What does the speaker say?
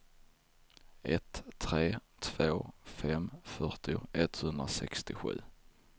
ett tre två fem fyrtio etthundrasextiosju